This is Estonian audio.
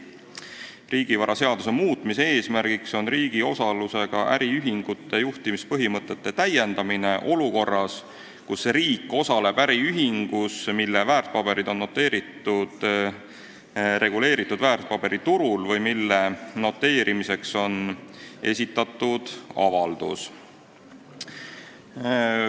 Riigivaraseaduse muutmise eesmärk on riigi osalusega äriühingute juhtimise põhimõtete täiendamine olukorras, kus riik osaleb äriühingus, mille väärtpaberid on noteeritud reguleeritud väärtpaberiturul või mille noteerimiseks on esitatud avaldus.